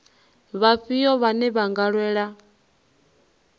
vhafhio vhane vha nga lwela